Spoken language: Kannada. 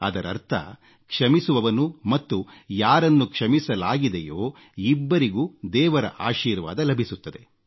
ಅದರರ್ಥ ಕ್ಷಮಿಸುವವನು ಮತ್ತು ಯಾರನ್ನು ಕ್ಷಮಿಸಲಾಗಿದೆಯೋ ಇಬ್ಬರಿಗೂ ದೇವರ ಆಶೀರ್ವಾದ ಲಭಿಸುತ್ತದೆ